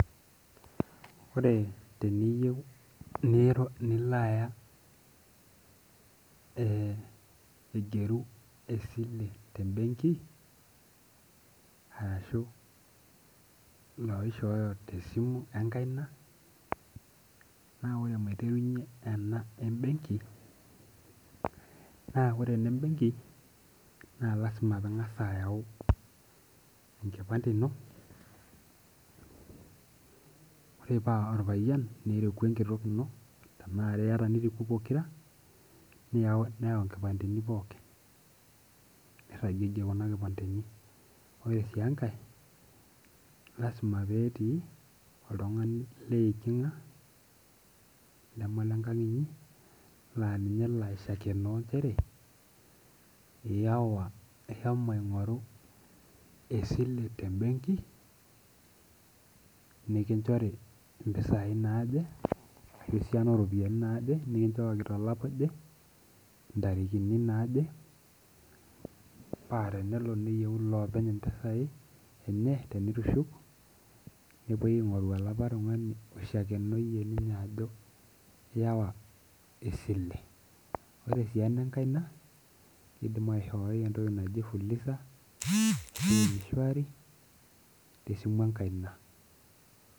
Ore teniyieu nilo aya aigeru esile tebenki, arashu loishooyo tesimu enkaina, na ore maiterunye ena ebenki, na ore enebenki, na lasima ping'asa ayau enkipande ino, ore paa orpayian niriku enkitok ino, enare yata niriku pokira, neu nkipandeni pookin. Nirragiegie kuna kipandeni. Ore si enkae, lasima petii oltung'ani leeking'a, leme lenkang' enye, na ninye olo aishakenoo njere, iyawa ishomo aing'oru esile tebenki, nikinchori mpisai naje, esiana oropiyiani naje nikinchoki tolapa oje, intarikini naaje, pa tenelo neyieu ilopeny impisai enye tenitushuk, nepoi aing'oru olapa tung'ani oishakenoyie ninye ajo iyawa esile. Ore si enenkaina, kidim aishoi entoki naji fuliza, m-shwari, tesimu enkaina.